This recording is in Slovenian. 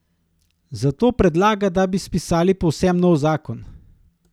Zato predlaga, da bi spisali povsem nov zakon.